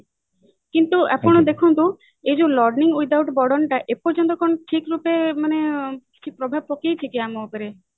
କିନ୍ତୁ ଆପଣ ଦେଖନ୍ତୁ ଏଇ ଯୋଉ learning without burden ଟା ଏ ପର୍ଯ୍ୟନ୍ତ କଣ ଠିକ ନଥାଏ ମାନେ କିଛି ପ୍ରଭାବ ପକେଇଛି କି ଆମ ଉପରେ